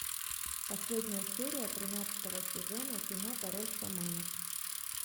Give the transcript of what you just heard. последняя серия тринадцатого сезона кино король шаманов